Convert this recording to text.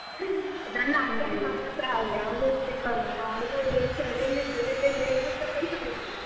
ನನ್ನ ಅಕ್ಕನ ಮಗಳುಸ ಹಾಗೆ ಅವ್ಳು ಅವ್ಳು ಚಳಿಲಿ ಬೆಳಿಗ್ಗೆ ಏಳಲಿಕ್ಕೆ ಮನ್ಸ್ ಆಗೋದಿಲ್ಲ.